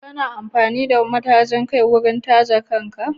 Kana amfani da matajin kai wurin taje kan ka?